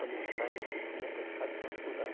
Tomou sangue esses dias, teve que fazer transfusão.